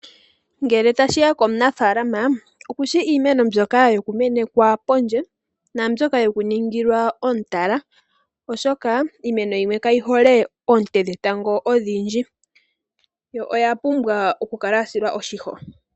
Ngele tashiya komunafalama okushi iimeno mbyoka yoku menekwa pondje, naa mbyoka yoku ningilwa omutala oshoka iimeno yimwe kayi hole oonte dhetango odhi ndji yo oya pumbwa okukala yasilwa oshisho.